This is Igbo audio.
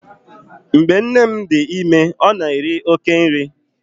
Mgbe nne m dị ime, ọ na-eri oké nri.